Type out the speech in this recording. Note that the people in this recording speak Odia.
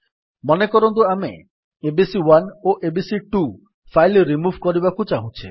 ମନେକରନ୍ତୁ ଆମେ ଏବିସି1 ଓ ଏବିସି2 ଫାଇଲ୍ ରିମୁଭ୍ କରିବାକୁ ଚାହୁଁଛେ